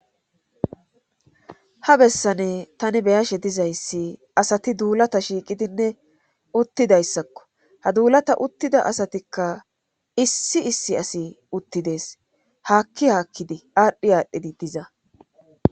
ha bessane tani beyashe dizayssi asati duulata shiiqidinne uttidayssakko ha duulata uttida asatikka issi issi asi uttidees haakki haakkidi aadhdhi aadhdhidi diza